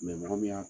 mɔgɔ min y'a